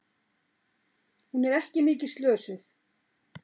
Hún er ekki mikið slösuð.